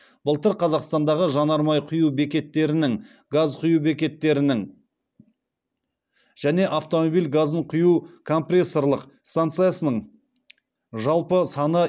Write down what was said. былтыр қазақстандағы жанармай құю бекеттерінің газ құю бекеттерінің және автомобиль газын құю компрессорлық станциясының жалпы саны